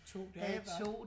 To dage iggår